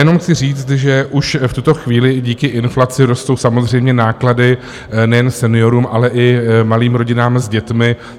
Jenom chci říct, že už v tuto chvíli díky inflaci rostou samozřejmě náklady nejen seniorům, ale i malým rodinám s dětmi.